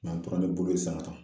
an tora ni bolo san nɔ